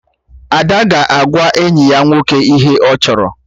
Ada ga-agwa enyi ya nwoke ihe ọ chọrọ